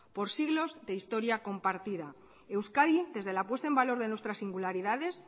por siglos de historia compartida euskadi desde la puesta en valor de nuestras singularidades